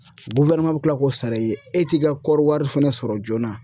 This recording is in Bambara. bi kila k'o sara i ye e t'i ka kɔɔri wari fɛnɛ sɔrɔ joona.